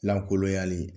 Lankolonyali